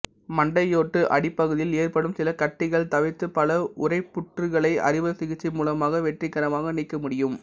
மண்டையோட்டு அடிப்பகுதியில் ஏற்படும் சில கட்டிகள் தவிர்த்து பல உறைப்புற்றுகளை அறுவை சிகிச்சை மூலமாக வெற்றிகரமாக நீக்க முடியும்